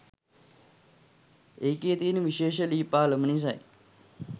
ඒකෙ තියෙන විශේෂ ලී පාලම නිසයි.